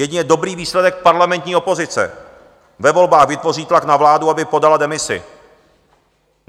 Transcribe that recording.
Jedině dobrý výsledek parlamentní opozice ve volbách vytvoří tlak na vládu, aby podala demisi.